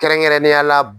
Kɛrɛnkɛrɛnnenya la